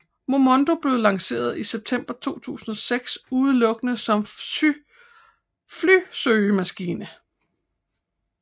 Momondo blev lanceret i september 2006 udelukkende som flysøgemaskine